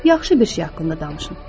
Yaxşı bir şey haqqında danışın.